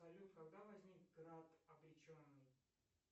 салют когда возник град обреченный